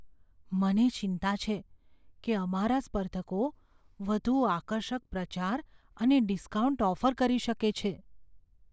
મને ચિંતા છે કે અમારા સ્પર્ધકો વધુ આકર્ષક પ્રચાર અને ડિસ્કાઉન્ટ ઓફર કરી શકે છે.